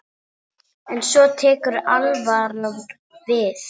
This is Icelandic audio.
En svo tekur alvaran við.